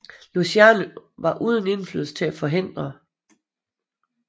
Luciano var uden indflydelse til at forhindre det